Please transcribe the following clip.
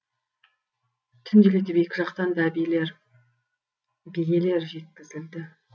түнделетіп екі жақтан да биелер жеткізілді